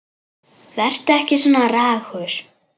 Vertu ekki svona ragur.